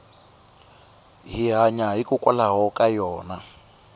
hi hanya hikwalaho ka yona